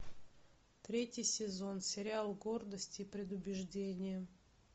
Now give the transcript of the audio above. третий сезон сериал гордость и предубеждение